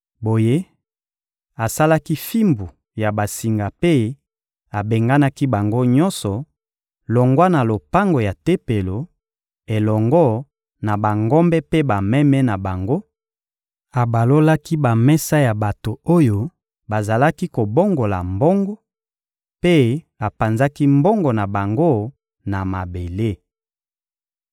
Boye, asalaki fimbu ya basinga mpe abenganaki bango nyonso, longwa na lopango ya Tempelo, elongo na bangombe mpe bameme na bango; abalolaki bamesa ya bato oyo bazalaki kobongola mbongo, mpe apanzaki mbongo na bango na mabele.